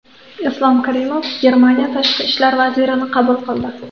Islom Karimov Germaniya tashqi ishlar vazirini qabul qildi.